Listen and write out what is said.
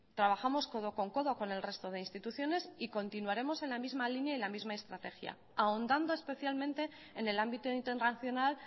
trabajamos codo con codo con el resto de instituciones y continuaremos en la misma línea y en la misma estrategia ahondando especialmente en el ámbito internacional